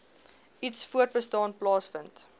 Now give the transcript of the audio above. iets voortbestaan plaasvind